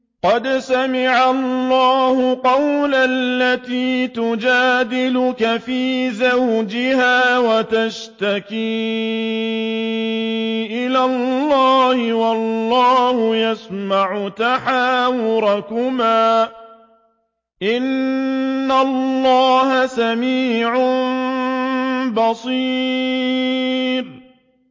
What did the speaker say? قَدْ سَمِعَ اللَّهُ قَوْلَ الَّتِي تُجَادِلُكَ فِي زَوْجِهَا وَتَشْتَكِي إِلَى اللَّهِ وَاللَّهُ يَسْمَعُ تَحَاوُرَكُمَا ۚ إِنَّ اللَّهَ سَمِيعٌ بَصِيرٌ